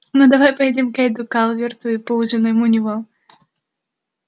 ну давай поедем к кэйду калверту и поужинаем у него